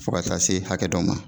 Fo ka taa se hakɛ dɔ ma